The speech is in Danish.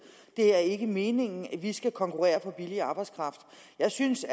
det er ikke meningen at vi skal konkurrere på billig arbejdskraft jeg synes